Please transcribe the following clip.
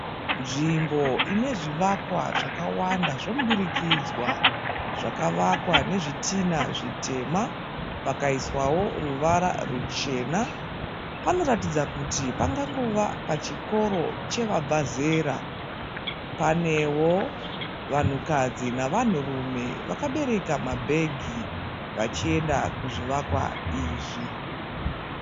Nzvimbo inezvivakwa zvakawanda zvemudurikanidzwa zvakavakwa nezvitinha zvitema, pakaiswavo ruvara ruchena panoratidza kuti pangangova pachikoro chevabva zera. Panevo vanhukadzi nevanhurume vakabereka mabhegi vachienda kuzvivakwa izvi.